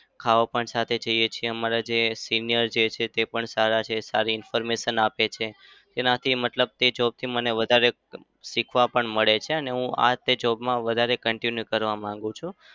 ખાવા પણ સાથે જઈએ છીએ. અમારા જે senior જે છે તે પણ સારા છે. સારી information આપે છે. તેનાથી મતલબ તે job થી મને વધારે અમ શીખવા પણ મળે છે. અને હું આ તે job માં વધારે continue કરવા માંગુ છું.